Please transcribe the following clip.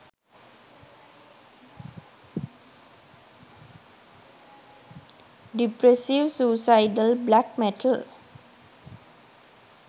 depressive suicidal black metal